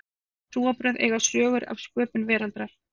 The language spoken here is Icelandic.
Flest trúarbrögð eiga sögur af sköpun veraldarinnar.